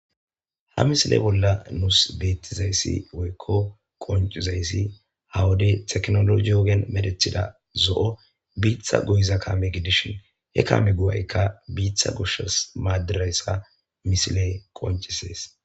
Ha misile bolla nuus beettizayssi woykko qoncizayssi hawadey teknologiyoogen medethida zo'o biitha guyiza kame gidishin he kaame guwaykka biitha goshas maaddirayssa misiley koncisees.